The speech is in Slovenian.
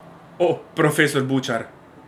Oh, profesor Bučar!